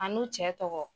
A n'u cɛ tɔgɔ